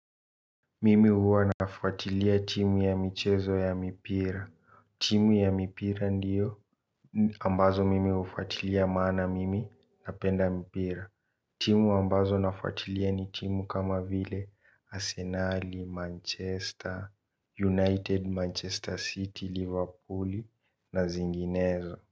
Mimi huwa nafuatilia timu ya michezo ya mipira. Timu ya mipira ndiyo ambazo mimi hufuatilia maana mimi napenda mpira. Timu ambazo nafuatilia ni timu kama vile Arsenal, Manchester, United, Manchester City, Liverpool na zinginezo.